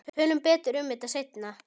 Tölum betur um þetta seinna.